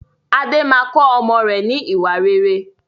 Adé máa kọ ọmọ rẹ ni ìwà rere.